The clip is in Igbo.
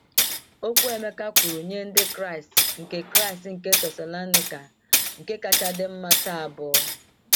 Okwu Emeka kwuru nye Ndị Kraịst nke Kraịst nke Thessalonika nke kacha dị mma taa bụ?